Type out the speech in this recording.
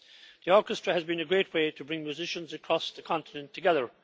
The orchestra has been a great way to bring musicians across the continent together.